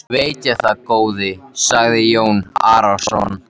Veit ég það góði, sagði Jón Arason.